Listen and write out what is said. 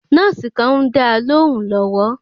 Nọ́ọ̀sì kàn ń dáa lóhùún lọ́wọ́.